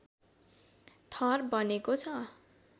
थर बनेको छ